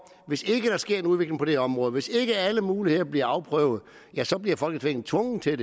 hvis ikke der sker en udvikling på det her område hvis ikke alle muligheder bliver afprøvet ja så bliver folketinget tvunget til at